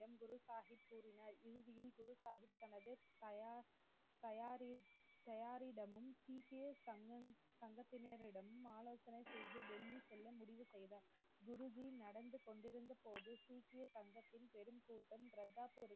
தயார்~ தயாரி~ தாயாரிடமும் சீக்கிய சங்க சங்கத்தினரிடம் ஆலோசனை செய்து டெல்லி செல்ல முடிவு செய்தார் குருஜி நடந்து கொண்டிருந்தபோது சீக்கிய சங்கத்தின் பெரும் கூட்டம் கர்தார்பூருக்கு